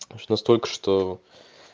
что столько что